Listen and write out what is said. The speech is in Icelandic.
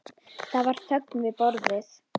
Það var þögn við borðið.